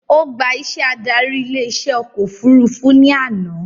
Ó gbà iṣẹ́ adarí ilé iṣẹ́ ọkọ̀ òfurufú ní àná